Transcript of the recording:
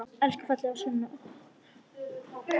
Elsku fallega Sunneva okkar.